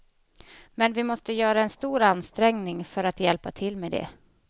Men vi måste göra en stor ansträngning för att hjälpa till med det.